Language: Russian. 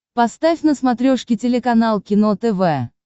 поставь на смотрешке телеканал кино тв